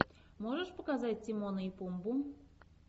можешь показать тимона и пумбу